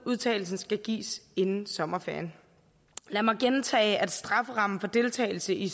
udtalelsen skal gives inden sommerferien lad mig gentage at strafferammen for deltagelse i